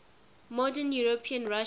modern european russia